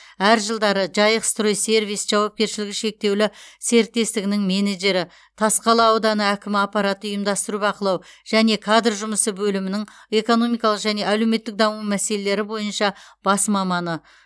әр жылдары жайық строй сервис жауапкершілігі шектеулі серіктестігінің менеджері тасқала ауданы әкімі аппараты ұйымдастыру бақылау және кадр жұмысы бөлімінің экономикалық және әлеуметтік даму мәселелері бойынша бас маманы